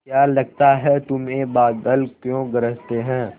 क्या लगता है तुम्हें बादल क्यों गरजते हैं